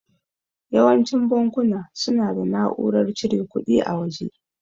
Yawancin bankuna suna da na'urar cire kuɗi a waje.